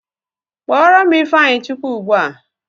Kpọrọ m ịfeanyịchukwu ugbua!